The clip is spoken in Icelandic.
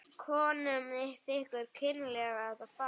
Konum þykir kynlega að farið.